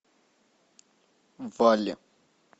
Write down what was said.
валли